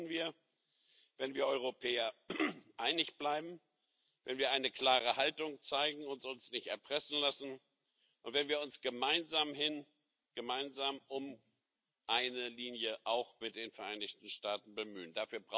Das schaffen wir, wenn wir Europäer einig bleiben, wenn wir eine klare Haltung zeigen und uns nicht erpressen lassen und wenn wir uns gemeinsam um eine Linie auch mit den Vereinigten Staaten bemühen.